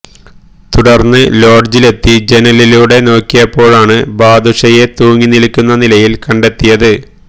തുടർന്ന് ലോഡ്ജിലെത്തി ജനലിലൂടെ നോക്കിയപ്പോഴാണ് ബാദുഷയെ തൂങ്ങി നിൽക്കുന്ന നിലയിൽ കണ്ടെത്തിയത്